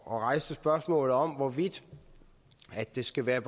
og rejste spørgsmålet om hvorvidt det skal være